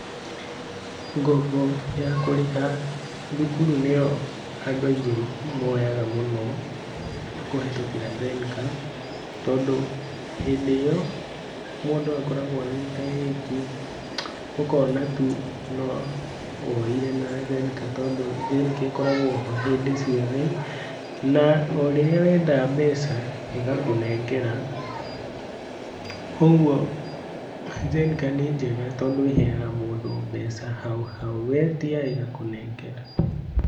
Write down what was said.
Ngombo ya kũrĩha thukuru nĩyo andũ aingĩ moyaga mũno kũhetũkĩra Zenka tondũ hĩndĩ ĩyo mũndũ akoragwo agĩte wĩki, ũkona tu no woire na Zenka tondũ, Zenka ĩkoragwo ho hĩndĩ ciothe na orĩrĩa wenda mbeca ĩĩ ĩgakũnengera ũguo Zenka nĩ njega na tondũ ĩheaga mũndũ mbeca hau hau, wetia ĩgakũnengera.